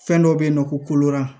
Fɛn dɔ be yen nɔ koro